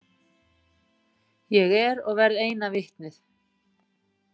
Ég er og verð eina vitnið.